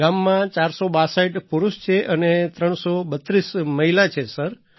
ગામમાં ૪૬૨ પુરુષ છે અને ૩૩૨ મહિલા છે સર